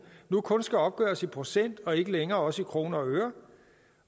nu kun skal opgøres i procent og ikke længere også i kroner og øre